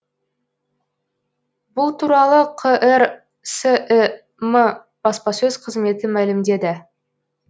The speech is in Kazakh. бұл туралы қр сім баспасөз қызметі мәлімдеді